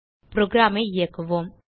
programஐ இயக்குவோம்